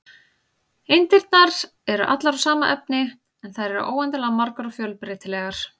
Eindirnar eru allar úr sama efni, en þær eru óendanlega margar og fjölbreytilegar.